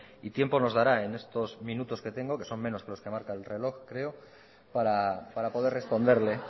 y tiempo nos dará en estos minutos que tengo que son menos que los que marca el reloj creo para poder responderle